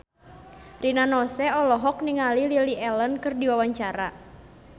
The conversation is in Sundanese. Rina Nose olohok ningali Lily Allen keur diwawancara